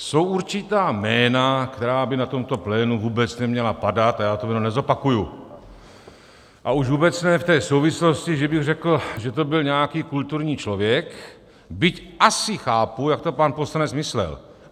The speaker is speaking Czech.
Jsou určitá jména, která by na tomto plénu vůbec neměla padat, a já to jméno nezopakuji, a už vůbec ne v té souvislosti, že bych řekl, že to byl nějaký kulturní člověk, byť asi chápu, jak to pan poslanec myslel.